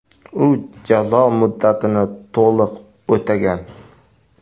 U jazo muddatini to‘liq o‘tagan.